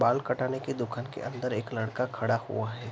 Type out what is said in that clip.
बाल कटाने की दुकान के अंदर एक लड़का खड़ा हुआ है।